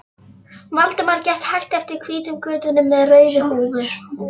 Valdimar gekk hægt eftir hvítum götunum með rauðu húf